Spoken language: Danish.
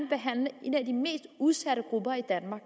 behandle en af de mest udsatte grupper i danmark